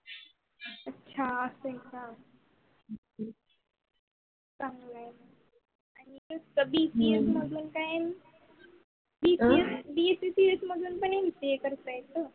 त्या bcs मधल काय? bcs नंतर mpa करते येत.